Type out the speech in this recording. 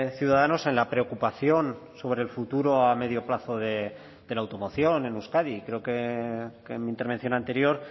ciudadanos en la preocupación sobre el futuro a medio plazo de la automoción en euskadi creo que en mi intervención anterior